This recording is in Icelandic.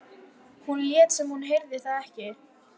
Hún lét sem hún heyrði það ekki.